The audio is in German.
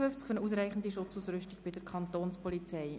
Für eine ausreichende Schutzausrüstung der Kantonspolizei».